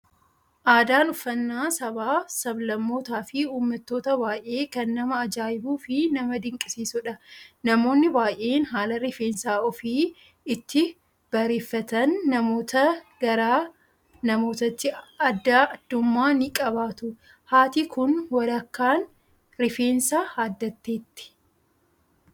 Aadaan uffaannaa sabaa, sablammootaa fi uummattoota baayyee kan nama ajaa'ibuu fi nama dinqisiisudha. Namoonni baayyeen haala rifeensa ofii itti bareeffatan namootaa, gara namootaatti addaa addummaa ni qabaatu. Haati Kun walakaan rifeensa haaddatteetti.